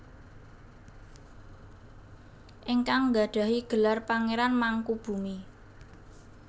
Ingkang nggadahi gelar Pangeran Mangkubumi